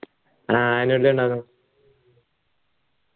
ആഹ് annual അല്ലാലോ